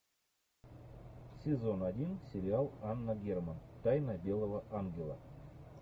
сезон один сериал анна герман тайна белого ангела